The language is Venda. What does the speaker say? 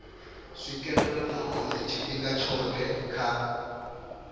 swikelelwa nahone tshifhinga tshothe kha